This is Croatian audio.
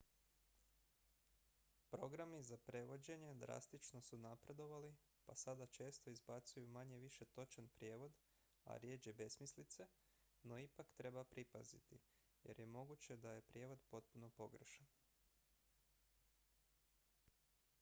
programi za prevođenje drastično su napredovali pa sada često izbacuju manje-više točan prijevod a rjeđe besmislice no ipak treba pripaziti jer je moguće da je prijevod potpuno pogrešan